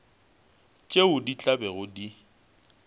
tšeo di tla bego di